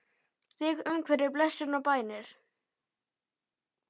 Þig umvefji blessun og bænir.